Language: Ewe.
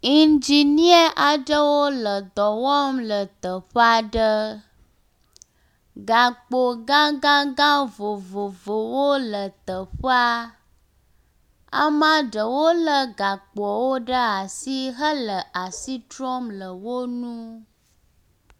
Ŋdzinie aɖewo le dɔ wɔm le teƒe aɖe. Gakpo gagagã vovovowo le teƒea. Ame ɖewo lé gakpoawo ɖe asi hele asi trɔm le wo ŋu.